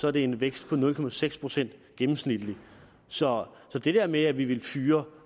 er det en vækst på nul procent procent gennemsnitligt så det der med at vi vil fyre